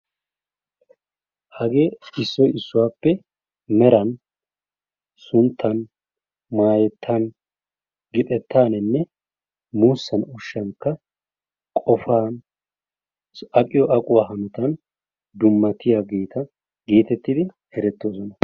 Hageeti issoy issuwappe meran , suuta, maayetan, gixettan muusan ushshankka qofaa aqqiyo aqquwan dummatiyageeta geetettidi eretoosona.